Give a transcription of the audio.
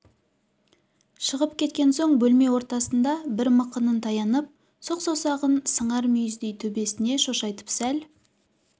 шығып кеткен соң бөлме ортасында бір мықынын таянып сұқ саусағын сыңар мүйіздей төбесіне шошайтып сәл